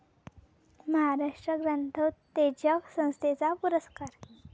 महाराष्ट्र ग्रंथोत्तेजक संस्थेचा पुरस्कार